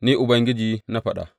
Ni Ubangiji na faɗa!’